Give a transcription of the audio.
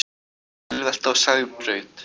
Bílvelta á Sæbraut